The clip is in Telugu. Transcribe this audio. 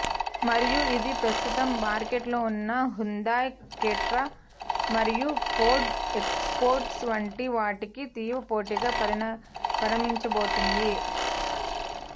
మరియు ఇది ప్రస్తుతం మార్కెట్లో ఉన్న హ్యుందాయ్ క్రెటా మరియు ఫోర్డ్ ఎకోస్పోర్ట్ వంటి వాటికి తీవ్ర పోటిగా పరిణమించబోతోంది